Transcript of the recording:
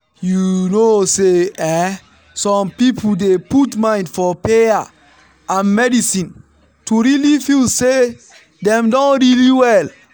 you know say eeh some people dey put mind for payer and medicine to really feel say dem don really well.